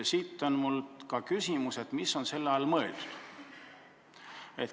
Mida on selle all mõeldud?